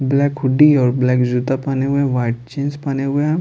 Black hoodie और black जूता पहने हुए है वाइट जींस पहने हुए है।